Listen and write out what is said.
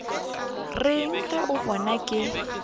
reng ge a bona ke